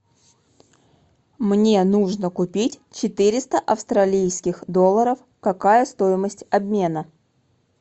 мне нужно купить четыреста австралийских долларов какая стоимость обмена